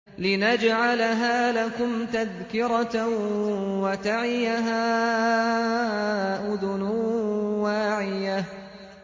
لِنَجْعَلَهَا لَكُمْ تَذْكِرَةً وَتَعِيَهَا أُذُنٌ وَاعِيَةٌ